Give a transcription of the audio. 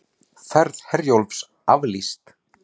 Ferð Herjólfs aflýst